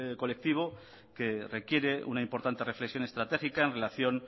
colectivo que requiere una importante reflexión estratégica en relación